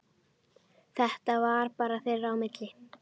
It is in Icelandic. Þetta var bara þeirra á milli.